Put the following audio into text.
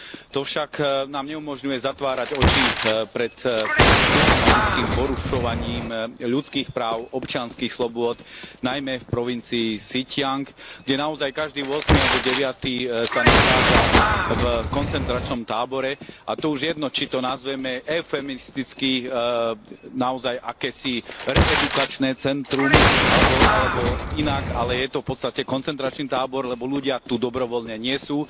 To však nám neumožňuje zatvárať oči pred systematickým porušovaním ľudských práv, občianskych slobôd, najmä v provincii Sin ťiang, kde naozaj každý ôsmy alebo deviaty sa nachádza v koncentračnom tábore, a to už jedno, či to nazveme eufemisticky naozaj akési reedukačné centrum, alebo, alebo inak, ale je to v podstate koncentračný tábor, lebo ľudia tu dobrovoľne nie sú.